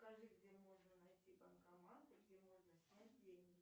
скажи где можно найти банкоматы где можно снять деньги